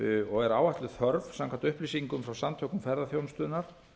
og er áætluð þörf samkvæmt upplýsingum frá samtökum ferðaþjónustunnar